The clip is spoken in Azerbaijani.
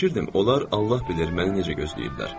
Fikirləşirdim onlar Allah bilir məni necə gözləyiblər.